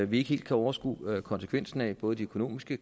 vi ikke helt kan overskue konsekvensen af både de økonomiske